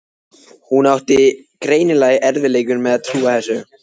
Hún átti greinilega í erfiðleikum með að trúa þessu.